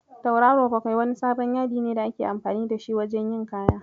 Tauraro bakwai wani sabon yadine da ake amfani da shi wajen yin kaya.